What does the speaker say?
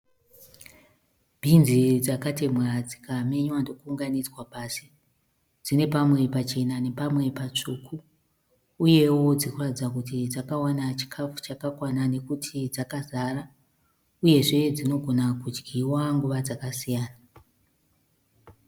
Binzi dzakatemhwa dzikamenywa ndokuunganidzwa pasi. Dzine pamwe pachena nepamwe patsvuku . Uyewo dzikuratidza kuti dzakawana chikafu chakakwana nekuti dzakazara. Uyezve dzinogona kudyiwa nguva dzakasiyana.